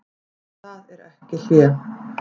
En það er ekki hlé.